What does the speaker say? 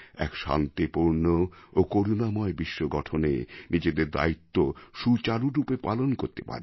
শান্তিপূর্ণ ও করুণাময় বিশ্ব গঠনে নিজেদের দায়িত্ব সুচারুভাবে পালন করতে পারি